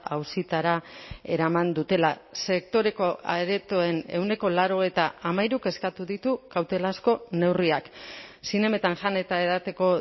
auzitara eraman dutela sektoreko aretoen ehuneko laurogeita hamairuk eskatu ditu kautelazko neurriak zinemetan jan eta edateko